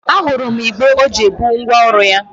A hụrụ m igbé ọ ji ebu ngwa ọrụ ya.